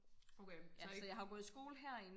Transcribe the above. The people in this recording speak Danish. okay så ikke